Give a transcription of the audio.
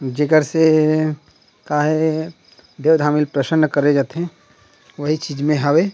जे कर से का हे देव धामी ल प्रसन्ना करे जाथे ओहि चीज में हवे।